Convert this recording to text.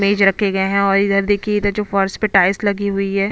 मेज रखे गए हैं और इधर देखिये इधर जो फर्श टाइल्स लगी हुई है।